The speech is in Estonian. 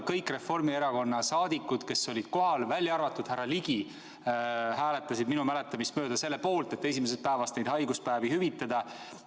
Kõik Reformierakonna liikmed, kes kohal olid, välja arvatud härra Ligi, hääletasid minu mäletamist mööda selle poolt, et haiguspäevi esimesest päevast alates hüvitada.